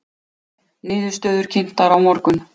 Niðurstöður kynntar á morgun